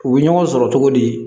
U bɛ ɲɔgɔn sɔrɔ cogo di